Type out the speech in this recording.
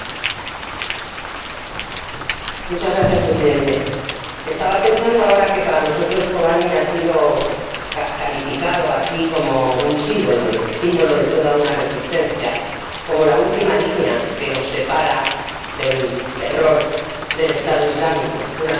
Señor Presidente, estaba pensando ahora que, para nosotros, Kobane ha sido calificado aquí como un símbolo, el símbolo de toda una resistencia, como la última línea que nos separa del terror del Estado Islámico, una franja de terreno que es a la vez una frontera